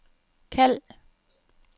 kald